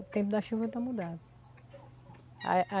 O tempo da chuva tá mudado. A a